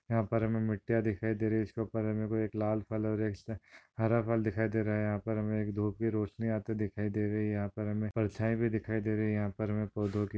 यहाँ पर हमे मिट्टियाँ दिखाई दे रही इसके उपर हमे कोई लाल कलर इसमे हरे फल दिखाई दे रहे यहाँ पर हमे एक धूप की रोशनी आते दिखाई दे रही यहाँ पर हमे परछाई भी दिखाई दे रही यहाँ पर हमे पौधो की--